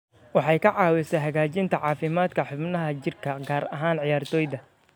Waxay ka caawisaa hagaajinta caafimaadka xubnaha jirka, gaar ahaan ciyaartoyda.